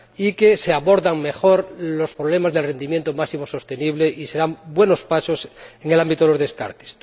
que se abordan aún mejor los problemas del rendimiento máximo sostenible, y que se dan buenos pasos en el ámbito de los descartes.